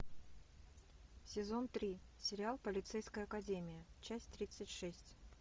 сезон три сериал полицейская академия часть тридцать шесть